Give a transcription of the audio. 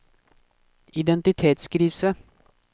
identitetskrise